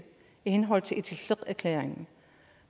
i henhold til itilleqerklæringen